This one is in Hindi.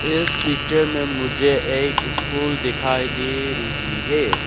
इस पिक्चर में मुझे एक स्कूल दिखाई दे रही है।